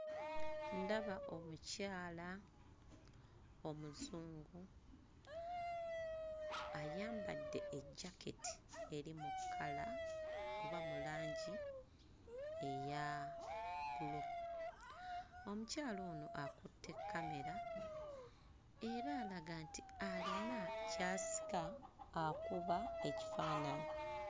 Ndaba omukyala omuzungu, ayambadde ejjaketi eri mu kkala oba mu langi eya bbulu, omukyala ono akutte kkamera era alaga nti alina ky'asika akuba ekifaananyi.